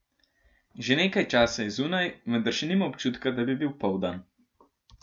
Že nekaj časa je zunaj, vendar še nima občutka, da bi bil poldan.